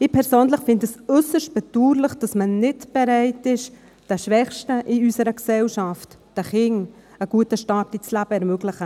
Ich persönlich finde es äusserst bedauerlich, dass man nicht bereit ist, den Schwächsten in unserer Gesellschaft, den Kindern, einen guten Start ins Leben zu ermöglichen.